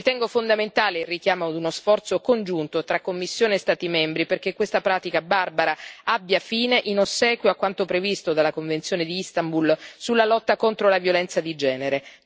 Ritengo fondamentale il richiamo ad uno sforzo congiunto tra Commissione e Stati membri, perché questa pratica barbara abbia fine, in ossequio a quanto previsto dalla Convenzione di Istanbul sulla lotta contro la violenza di genere.